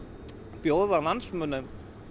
bjóða landsmönnum